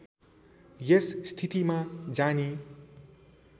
यस स्थितिमा जानी